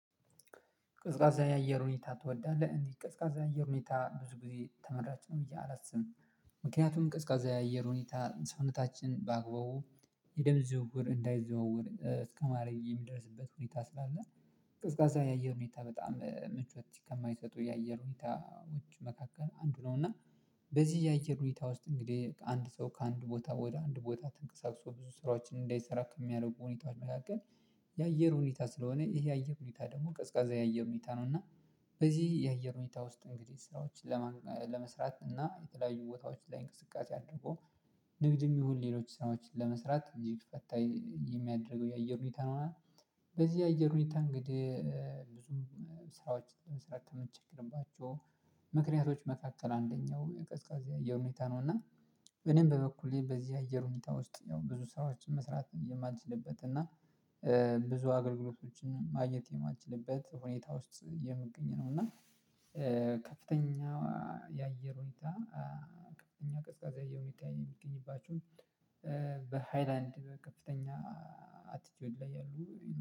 ቀዝቃዛ የአየር ሁኔታ ትወዳለህ እንዴ? ቀዝቃዛ የአየር ሁኔታ ብዙ ጊዜ ተመራጭ ነው ብዬ አላስብም። ምክንያቱም ቀዝቃዛ የአየር ሁኔታ ሰውነታችን ባግባቡ የደም ዝውውር እንዳይዘዋወር እስከማድረግ የሚደርስበት ሁኔታ ስላለ። ቀዝቃዛ የአየር ሁኔታ በጣም ምቾት ከማይሰጡ የአየር ሁኔታዎች መካከል አንዱ ነው። እና በዚህ የአየር ሁኔታ ውስጥ እንግዲህ አንድ ሰው ከአንድ ቦታ ወደ አንድ ቦታ ተንቀሳቅሶ ብዙ ስራዎችን እንዳይሰራ ከሚያደርጉ ሁኔታዎች መካከል። የአየር ሁኔታ ስለሆነ ይሄ የአየር ሁኔታ ደግሞ ቀዝቃዛ የአየር ሁኔታ ነው። እና በዚህ የአየር ሁኔታ ውስጥ እንግዲህ ስራዎችን ለመስራት እና የተለያዩ ቦታዎች ላይ እንቅስቃሴ አድርጎ ንግድ የሚሆን ሌሎች ሰኖችን ለመስራት እንዲህ ፈታ የሚያደርገው የአየር ሁኔታ ነው። በዚህ የአየር ሁኔታ እንግዲህ ብዙም ስራዎች ስራ ከምትቸገርባቸው ምክንያቶች መካከል አንደኛው ቀዝቃዛ የአየር ሁኔታ ነው። እና እኔም በበኩሌ በዚህ የአየር ሁኔታ ውስጥ ያው ብዙ ሰዎችን መስራት የማልችልበት እና ብዙ አገልግሎቶችን ማግኘት የማልችልበት ሁኔታ ውስጥ የምገኝ ነው። እና ከፍተኛ የአየር ሁኔታ ከፍተኛ ቀዝቃዛ የሆኑ የሚገኙባቸው በሃይላንድ ከፍተኛ አቲቲውድ ላይ ያሉ